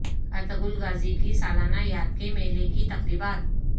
Ertugrul Ghazi کی سالانہ یاد کے میلے کی تقریبات